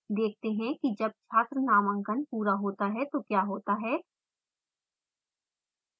देखते हैं कि जब छात्र नामांकन पूरा होता है तो क्या होता है